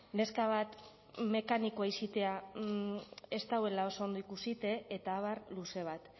neska bat mekanikoa izatea ez dagoela oso ondo ikusita eta abar luze bat